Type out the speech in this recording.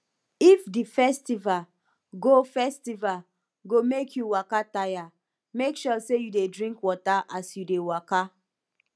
if the festival go festival go make you waka tire make sure say you de drink water as you de waka